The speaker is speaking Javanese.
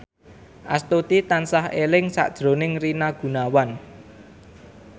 Astuti tansah eling sakjroning Rina Gunawan